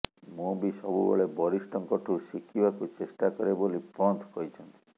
ମୁଁ ବି ସବୁବେଳେ ବରିଷ୍ଠଙ୍କଠୁ ଶିଖିବାକୁ ଚେଷ୍ଟା କରେ ବୋଲି ପନ୍ତ କହିଛନ୍ତି